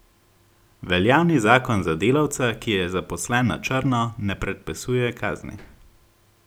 Veljavni zakon za delavca, ki je zaposlen na črno, ne predpisuje kazni.